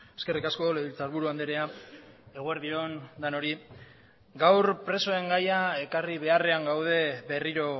eskerrik asko legebiltzarburu andrea eguerdi on denoi gaur presoen gaia ekarri beharrean gaude berriro